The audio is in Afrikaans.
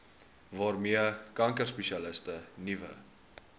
waarmee kankerspesialiste nuwe